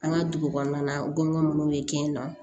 An ka dugu kɔnɔna na n gɔbɔni minnu bɛ kɛ yen nɔ